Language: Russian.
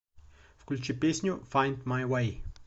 включи песню файнд май вэй